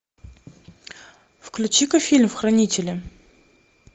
включи ка фильм хранители